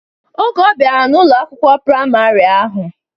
Oge ọbiara n'Ụlọ akwụkwọ praịmarị ahụ.